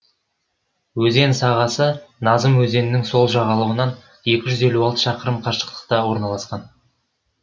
өзен сағасы назым өзенінің сол жағалауынан екі жүз елу алты шақырым қашықтықта орналасқан